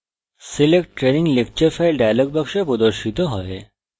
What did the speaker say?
select training lecture file dialog প্রদর্শিত হয়